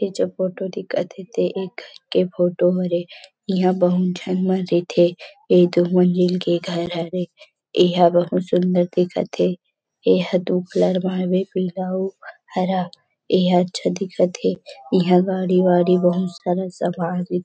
इ जो फोटो दिखत हे ते एक के फोटो हरे इहाँ बहुत झन मन रहिथे इ दू मंजिल के घर हरे इहाँ बहुत सुंदर दिखथे ए ह दू कलर म हवे पीला अउ हरा ए ह अच्छा दिखत हे इहाँ गाड़ी -वाड़ी बहुत सारे सवारी --